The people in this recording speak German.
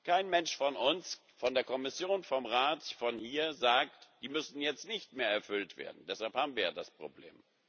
Kein Mensch von uns, von der Kommission, vom Rat, von hier, sagt, die müssen jetzt nicht mehr erfüllt werden deshalb haben wir jetzt ja das Problem.